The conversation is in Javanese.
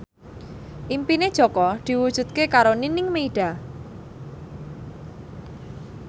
impine Jaka diwujudke karo Nining Meida